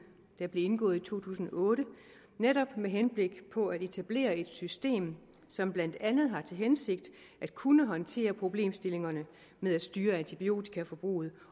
der blev indgået i to tusind og otte netop med henblik på at etablere et system som blandt andet har til hensigt at kunne håndtere problemstillingerne med at styre antibiotikaforbruget